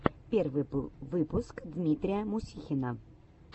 первый выпуск дмитрия мусихина